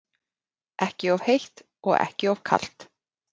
Ekki of heitt og ekki of kalt?